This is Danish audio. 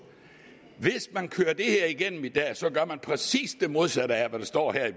hvis man kører det her igennem i dag gør man præcis det modsatte af hvad der står her i